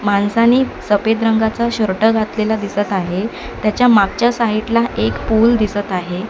माणसांनी सफेद रंगाचा शर्ट घातलेला दिसत आहे त्याच्या मागच्या साइड ला एक पूल दिसत आहे.